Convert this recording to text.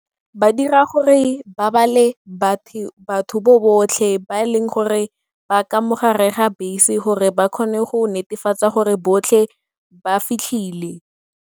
Ba dira gore ba bale batho botlhe ba e leng gore ba ka mo gare ga bese gore ba kgone go netefatsa gore botlhe ba fitlhile.